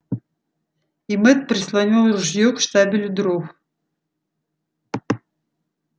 и мэтт прислонил ружье к штабелю дров